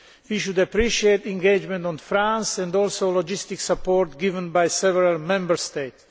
We should appreciate the engagement of France and also the logistical support given by several Member States.